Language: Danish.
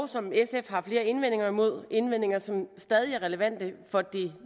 som sf har flere indvendinger imod indvendinger som stadig er relevante for